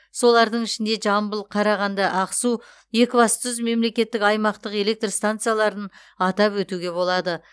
солардың ішінде жамбыл қарағанды ақсу екібастұз мемлекеттік аймақтық электр станцияларын атап өтуге болады